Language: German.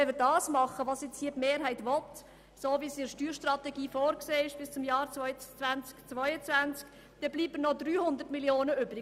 Wenn wir tun, was die Mehrheit hier will, und wie es in der Steuerstrategie bis zum Jahr 2022 vorgesehen ist, dann bleiben noch 300 Mio. Franken übrig.